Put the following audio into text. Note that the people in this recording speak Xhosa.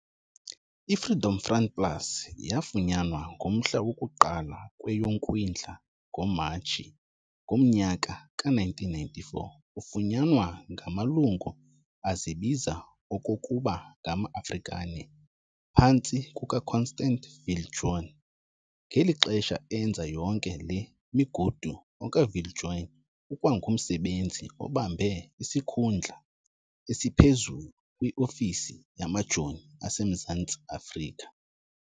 IFreedom Front Plus yafunyanwa ngomhla woku-1 kweyoKwindla, ngoMatshi, ngomnyaka ka-1994, ufunyanwa ngamalungu azibiza okokuba ngama-Afrikaaner phantsi kukaConstand Viljoen. Ngeli xesha enza yonke le migudu okaViljoen ukwangumsebenzi obambe isikhundla esiphezulu kwi-ofisi yamajoni aseMzantsi Afrika.